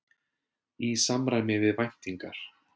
Í samræmi við væntingar